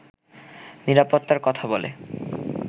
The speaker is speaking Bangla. নিরাপত্তার কথা বলে